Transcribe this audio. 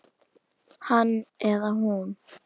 Hann eða hún